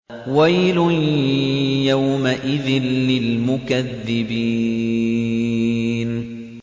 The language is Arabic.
وَيْلٌ يَوْمَئِذٍ لِّلْمُكَذِّبِينَ